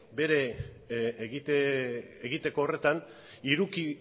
egiteko horretan